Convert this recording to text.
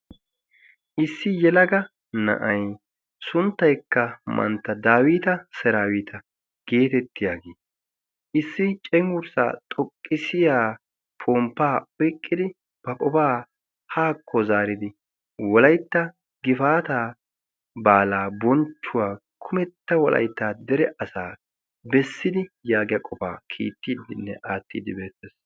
issi yelaga na'ay sunttaykka mantta daawita saraawita geetettiyaagii issi cengurssaa xoqqisiya pomppaa oiqqidi ba qofaa haakko zaaridi wolaytta gifaata baalaa bonchchuwaa kumetta wolaytta dere asaa bessidi yaagiya qofaa kiittiiddinne aattiiddi beettees